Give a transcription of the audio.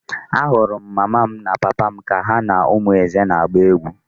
Ahụrụ m mama m na papa m ka ha na ụmụ Eze na-agba egwu.